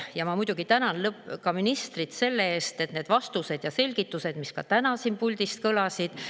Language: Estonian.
Ma muidugi tänan ministrit nende vastuste ja selgituste eest, mis ka täna siin puldis kõlasid.